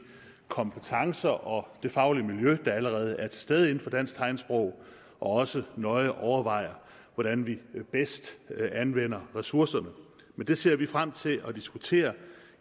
kompetencer og det faglige miljø der allerede er til stede inden for dansk tegnsprog og også nøje overvejer hvordan vi bedst anvender ressourcerne det ser vi frem til at diskutere